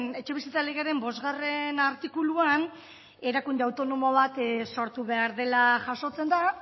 etxebizitza legearen bosgarren artikuluan erakunde autonomo bat sortu behar dela jasotzen da